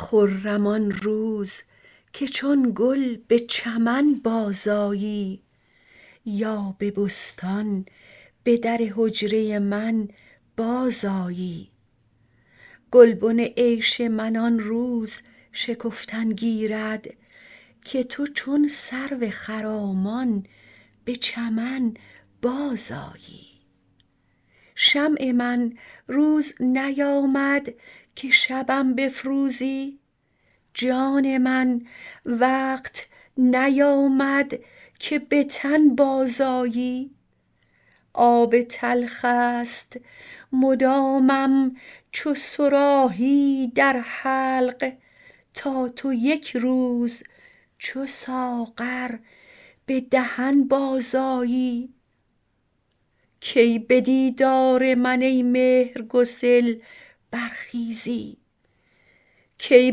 خرم آن روز که چون گل به چمن بازآیی یا به بستان به در حجره من بازآیی گلبن عیش من آن روز شکفتن گیرد که تو چون سرو خرامان به چمن بازآیی شمع من روز نیامد که شبم بفروزی جان من وقت نیامد که به تن بازآیی آب تلخ است مدامم چو صراحی در حلق تا تو یک روز چو ساغر به دهن بازآیی کی به دیدار من ای مهرگسل برخیزی کی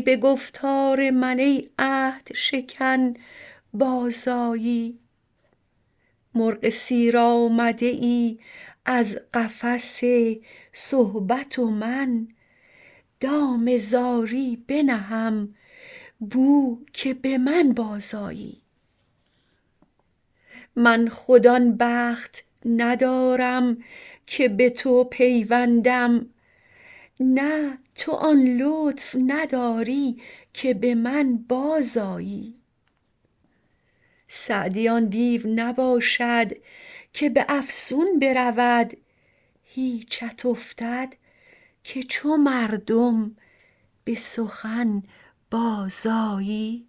به گفتار من ای عهدشکن بازآیی مرغ سیر آمده ای از قفس صحبت و من دام زاری بنهم بو که به من بازآیی من خود آن بخت ندارم که به تو پیوندم نه تو آن لطف نداری که به من بازآیی سعدی آن دیو نباشد که به افسون برود هیچت افتد که چو مردم به سخن بازآیی